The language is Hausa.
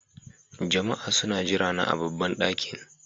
Jama'a suna jirana a babban ɗakin.